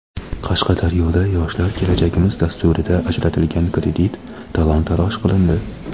Qashqadaryoda "Yoshlar – kelajagimiz" dasturida ajratilgan kredit talon-toroj qilindi.